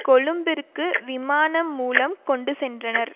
கொழும்பிற்கு விமானம் மூலம் கொண்டு சென்றனர்